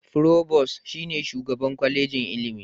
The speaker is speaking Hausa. Furobos (Provost) shi ne Shugaban Kwallejin ilimi.